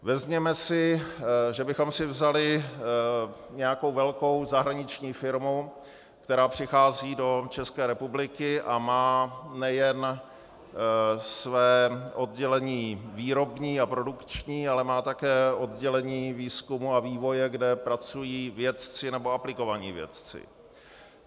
Vezměme si, že bychom si vzali nějakou velkou zahraniční firmu, která přichází do České republiky a má nejen své oddělení výrobní a produkční, ale má také oddělení výzkumu a vývoje, kde pracují vědci, nebo aplikovaní vědci.